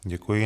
Děkuji.